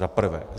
Za prvé.